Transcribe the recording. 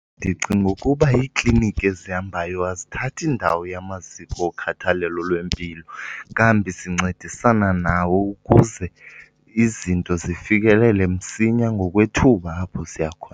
Ndicinga ukuba iikliniki ezihambayo azithathi ndawo yamaziko okhathalelo lwempilo kambi zincedisana nawo ukuze izinto zifikelele msinya ngokwethuba apho ziya khona.